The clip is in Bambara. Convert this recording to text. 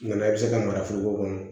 Nga i bɛ se ka mara foroko kɔnɔ